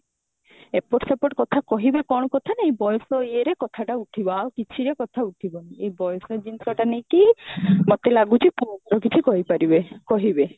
ଏପଟ ସେପଟ କଥା କହିଦେ କଣ କଥା ନାଇଁ ବୟସ ଇଏରେ କଥାଟା ଉଠିବ ଆଉ କିଛି ଯେ କଥା ଉଠିବନି ଏଇ ବୟସ ଜିନିଷଟା ନେଇକି ହିଁ ମୋତେ ଲାଗୁଛି ପୁଅ ଭୁଲ କିଛି କହିପାରିବେ କହିବେ